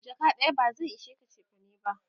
jaka ɗaya ba zai ishe ka chefane ba